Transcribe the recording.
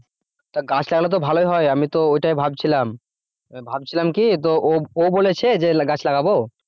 তা গাছ লাগালে তো ভালই হয় আমি তো ওইটাই ভাবছিলাম ভাবছিলাম কি তো ও ও বলেছে যে গাছ লাগাব?